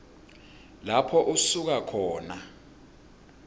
lapho usuka khona